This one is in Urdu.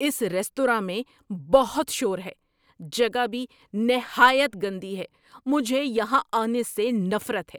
اس ریستوراں میں بہت شور ہے، جگہ بھی نہایت گندی ہے، مجھے یہاں آنے سے نفرت ہے۔